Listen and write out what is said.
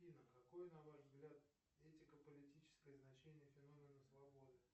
афина какое на ваш взгляд этико политическое значение феномена свободы